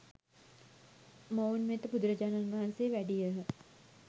මොවුන් වෙත බුදුරජාණන් වහන්සේ වැඩියහ.